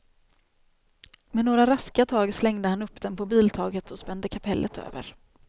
Med några raska tag slängde han upp den på biltaket och spände kapellet över.